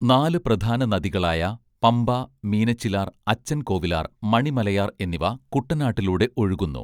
നാല് പ്രധാന നദികളായ പമ്പ മീനച്ചിലാർ അച്ചൻകോവിലാർ മണിമലയാർ എന്നിവ കുട്ടനാട്ടിലൂടെ ഒഴുകുന്നു